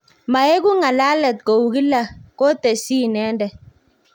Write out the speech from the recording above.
Maegu ng'alalet kou kila' kotesyi inendet